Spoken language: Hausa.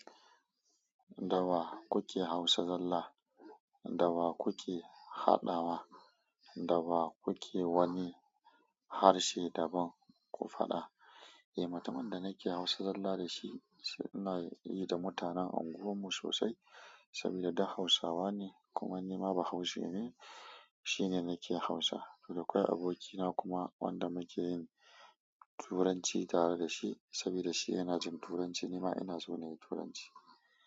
Dawa kuke Hausa zalla, dawa kuke haɗawa, dawa kuke wani harshe daban ku faɗa. Eh, mutumin da nake Hausa zalla da shi, ina yi da mutanen unguwarmu sosai saboda duk Hausawa ne. Kuma ni ma bahaushe ne, shi ne nake Hausa. Dakwai abokina kuma wanda muke yin Turanci tare da shi saboda shi yana jin Turanci. Ni ma ina so na yi Turanci.